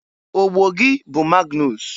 Ogbo bụ Magnus.